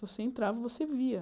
Você entrava, e você via.